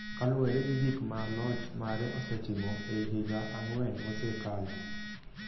kaluwore gi gik ma loch mare osetimo ei higa ang’wen mosekalo.